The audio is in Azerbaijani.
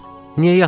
Niyə yatmışan?